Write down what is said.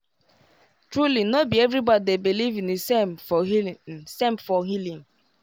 truly no be everybody dey beleive in the same for healing same for healing